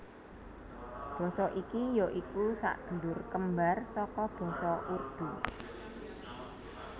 Basa iki ya iku sadulur kembar saka Basa Urdu